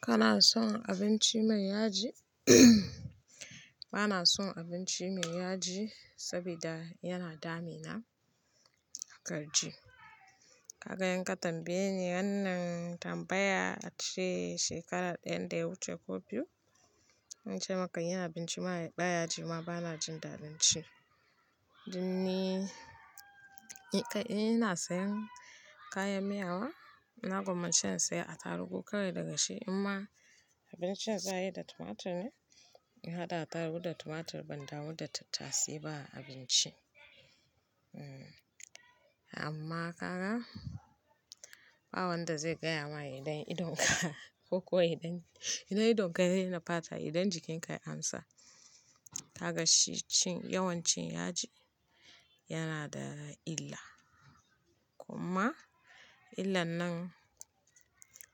Kana son abinci mai yaji? Bana son abinci mai yaji saboda yana dami na. Haka ji. Kaga yanka tambaye ni wannan tambaya a shekarar ɗaya da wuce ko biyu. Zan ce maka yin abinci baya ji ma bana jin daɗin ci. Dan ni, in ka-- ina sayan kayan miya wa, ina gwammacewa in saya atarugu kawai daga shi. Amma abincin za a yi da tumatur ne, in haɗa ataru da tumatur ban damu da tattasai ba a abinci. Hmm, amma ka ga, ba wanda zai gaya ma idan idon ka ko kuwa idon-- idan idon ka yaraina fata, idan jikin ka ya amsa. Ka ga shi cin yawancin yaji yana da illa, kuma illan nan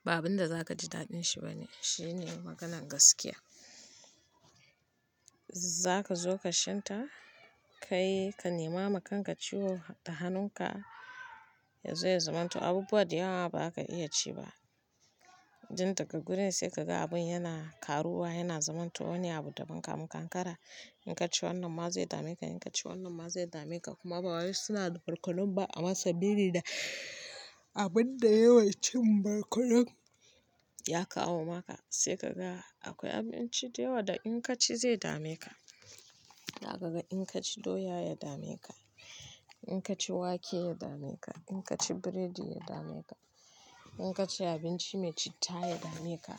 ba abin da za ka ji daɗin shi ba ne. Shi ne maganan gaskiya. Za ka zo kar shenta, kai ka nema ma kanka ciwo har da hanun ka ya zo ya zamanto abubuwa da yawa ma ba za ka iya ci ba. Dan daga gurin sai ka ga abin yana karuwa, yana zamanto wani abu daban kamun ka an kankara. In ka ci wannan ma zai dame ka, in ka ci wannan ma zai dame ka kuma bawai suna da barkonon ba amma sabili da abin da yawan cin barkonon ya kawo maka. Sai ka ga akwai abinci da yawa da in ka ci zai dame ka. Da kaga in ka ci doya ya dame ka, in ka ci wake ya dame ka, in ka ci biredi ya dame ka, in ka ci abinci mai citta ya dame ka.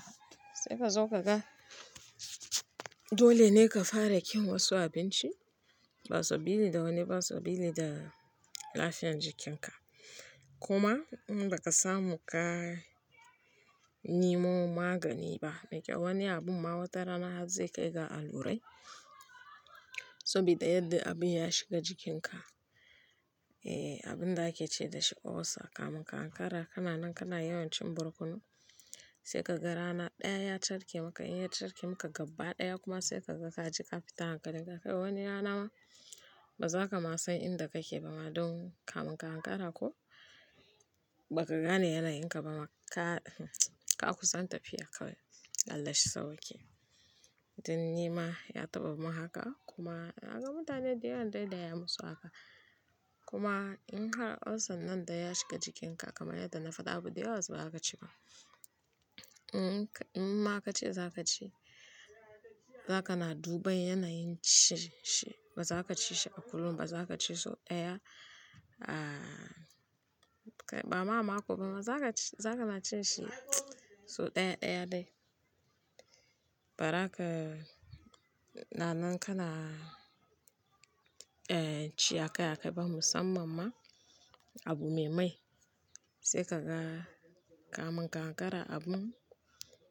Sai ka zo ka ga dole ne ka fara kin wasu abinci ba sabili da wani, ba sabili da lafiyar jikinka. Kuma in ba ka samu ka nemo magani ba, mai kyau wani abun ma watara na har zai kai ga allurai. Saboda yadda abu ya shiga jikin ka, eh abin da ake ce da shi ulcer ka mun ankara. Kana nan kana yawancin barkono, sai ka ga rana ɗaya ya carke maka. In ya carke maka gaba ɗaya kuma sai ka ga ka je ka fita hankali ka ga wani rana ma ba za ka ma san inda kake ba ma don ka mun ka ankara ko ba ka gane yanayin ka ba ma. Ka, ka kusan tafiya kawai Allah shi sauwaƙe. Dan ni ma ya taɓa mun haka kuma na ga mutane da yawan dai daya ya musu haka. Kuma in har ulcer nan da ya shiga jikin ka kamar yadda na faɗa abu da yawa ba za ka ci ba. In ka-- in ma aka ce za ka ci, za ka na duba yanayin ci shi. Ba za ka ci shi a kullum, ba za ka ci sau ɗaya. Aaa, ba ma-ma ko ba ma za ka ci-- za ka na cin shi sau ɗaya, ɗaya dai. Bara ka na nan kana, eh ci akai, akai ba musamman ma abu me mai. Sai ka ga ka mun ka ankara abun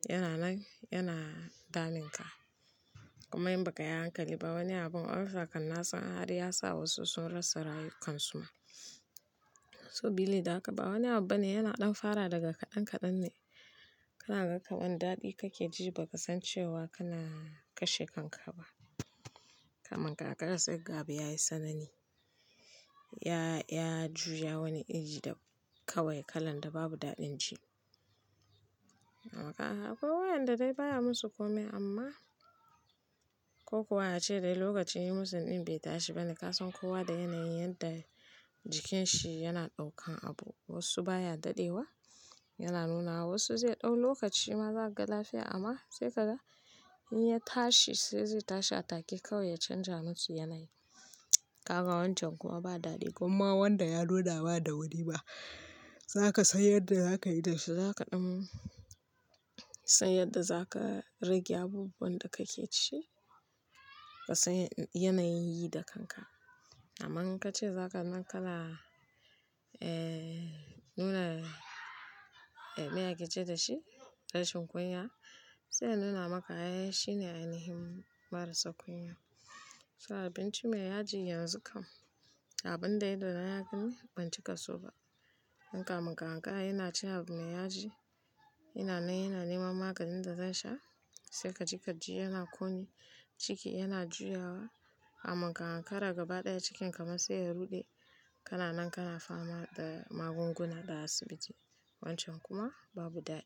yana nan, yana damin ka. Kuma in ba ka yi hankali ba wani abun ulcer kan nasan har ya sa wasu sun rasa rayukansu ma. Sabili da haka ba wani abu bane yana ɗan fara daga kaɗan kaɗan ne. Kana ga kamar wani daɗi kake ji ba ka san cewa kana kashe kanka ba. Ka mun ka ankara sai kaga abu ya yi sanani. Ya, ya juya wani iri da kawai kalan da babu daɗin ji. Amma ka ga akwai wayanda dai baya musu komai amma ko kuwa ace dai lokaci ya yi musu ɗin bai tashi ba ne. Ka san kowa da yanayin yadda jikin shi yana ɗaukan abu. Wasu baya daɗewa, yana nuna wa wasu zai ɗau lokaci ma za a ga lafiya amma sai kaga in ya tashi sai zai tashi a take kawai ya canja musu yanayi. Ka ga wancan kuma ba daɗi kuma wanda ya loda ba da wuri ba. Za ka san yadda za ka yi da shi. Za ka ɗan san yadda za ka rage abubuwan da kake ci. Ka san yanayin yi da kanka. Amma in ka ce za ka nan kala, eh nuna, eh me ake ce da shi? Rashin kunya. Sai nuna maka eh shine ainihin marasa kunya. So abinci me yaji yanzu kam abin da idona ya gani ban cika so ba. In ka mun ka ankara yana cin abu me yaji, yana nan yana neman maganin da zan sha. Sai ka ji ka ji yana ƙone ciki yana juyawa. Kamun ka ankara gaba ɗaya cikin ka ma sai ya ruɗe. Kana nan kana fama da magunguna da asibiti. Wancan kuma babu daɗi.